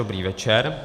Dobrý večer.